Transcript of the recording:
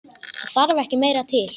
Það þarf ekki meira til.